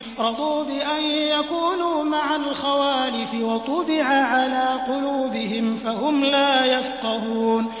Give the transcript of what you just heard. رَضُوا بِأَن يَكُونُوا مَعَ الْخَوَالِفِ وَطُبِعَ عَلَىٰ قُلُوبِهِمْ فَهُمْ لَا يَفْقَهُونَ